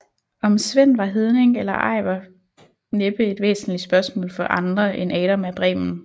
Om Sven var hedning eller ej var næppe et væsentlig spørgsmål for andre end Adam af Bremen